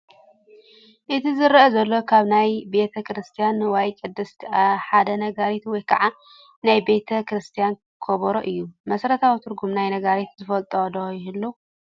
እቲ ዝረአ ዘሎ ካብ ናይ ቤተ ክርስትያን ንዋየ ቅድሳት ሓደ ነጋሪት ወይ ከዓ ናይ ቤተ ክርስትያን ከበሮ እዩ፡፡ መሰረታዊ ትርጉም ናይ ነጋሪት ዝፈልጥ ዶ ይህሉ?